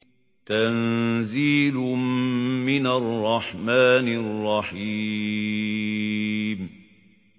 تَنزِيلٌ مِّنَ الرَّحْمَٰنِ الرَّحِيمِ